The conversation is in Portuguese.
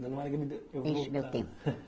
Porque eu vou Deixe o meu tempo.